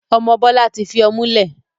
Ọmọ Bọlá tí fi ọmú lẹ̀.